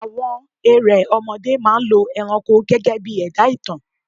Àwọn erẹ̀ ọmọdé máa ń lọ ẹranko gegebii ẹ̀dá ìtàn